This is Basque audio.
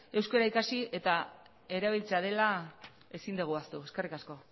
euskara ikasi eta erabiltzea dela ezin dugu ahaztu eskerrik asko